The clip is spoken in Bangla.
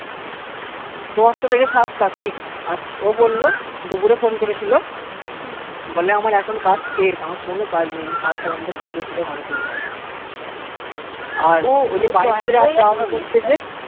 দশটা থেকে সাত টা fix আর ও বললো দুপুরে phone করেছিলো বলে আমার এখন কাজ শেষ কোনো কাজ নেই আমি সাত টা পর্যন্ত ঘুরে ফিরে ঘরে চলে যাবো আর ও যে বাইক করে যাওয়া আসা করতেছে